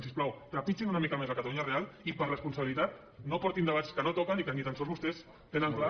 si us plau trepitgin una mica més la catalunya real i per responsabilitat no portin debats que no toquen i que ni tan sols vostès tenen clar